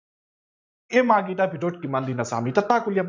এই মাহ গিটাৰ ভিতৰত কিমান দিন আছে আমি এতিয়া তাক উলিয়াম।